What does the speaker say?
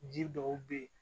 Ji dɔw be ye